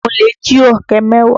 Àwọn olè jí ọ̀kẹ́ mẹ́wàá.